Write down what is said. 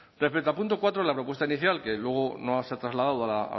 respecto al punto cuatro la propuesta inicial que luego no se ha trasladado a la